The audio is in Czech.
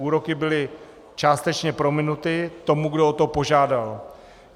Úroky byly částečně prominuty tomu, kdo o to požádal.